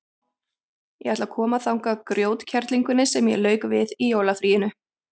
Ég ætla að koma þangað grjótkerlingunni sem ég lauk við í jólafríinu.